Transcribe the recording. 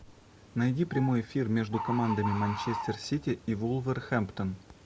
найди прямой эфир между командами манчестер сити и вулверхэмптон